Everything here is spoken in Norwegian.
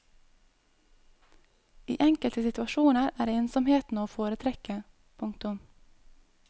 I enkelte situasjoner er ensomheten å foretrekke. punktum